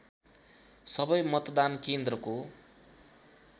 सबै मतदान केन्द्रको